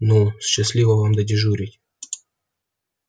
ну счастливо вам додежурить